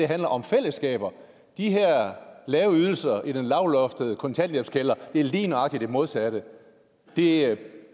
handler om fællesskaber de her lave ydelser i den lavloftede kontanthjælpskælder gør lige nøjagtig det modsatte de